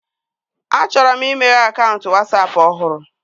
A chọrọ m imeghe akaụntụ Wasapụ ọhụrụ